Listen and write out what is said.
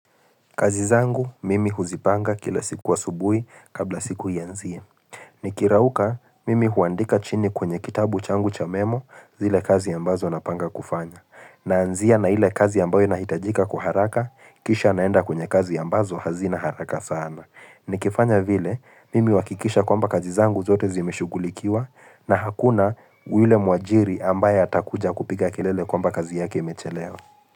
Kazi zangu, mimi huzipanga kila siku wa subui kabla siku ianzie. Nikirauka, mimi huandika chini kwenye kitabu changu cha memo zile kazi ambazo napanga kufanya. Naanzia na ile kazi ambayo inahitajika kwa haraka, kisha naenda kwenye kazi ambazo hazina haraka sana. Nikifanya vile, mimi huakikisha kwamba kazi zangu zote zimeshughulikiwa na hakuna ule muajiri ambaye atakuja kupiga kelele kwamba kazi yake imechelewa.